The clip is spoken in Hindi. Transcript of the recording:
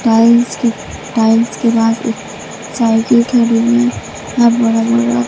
टाइल्स के टाइल्स के बाद एक साइकिल खड़ी है